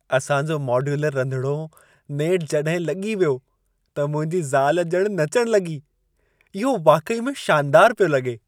असां जो मोड्यूलर रंधिणो नेठ जॾहिं लॻी वियो, त मुंहिंजी ज़ाल ॼणु नचण लॻी। इहो वाक़ई में शानदार पियो लॻे।